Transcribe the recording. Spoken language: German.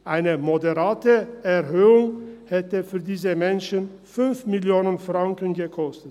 Eine moderate Erhöhung für diese Menschen hätte 5 Mio. Franken gekostet.